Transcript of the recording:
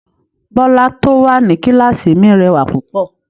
Bọ́lá tó wà ní kíláàsì mi rẹwà púpọ̀